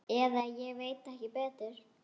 Eða ég veit ekki betur.